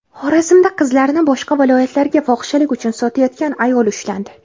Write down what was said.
Xorazmda qizlarni boshqa viloyatlarga fohishalik uchun sotayotgan ayol ushlandi.